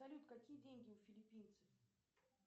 салют какие деньги у филиппинцев